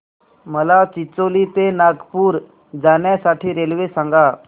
मला चिचोली ते नागपूर जाण्या साठी रेल्वे सांगा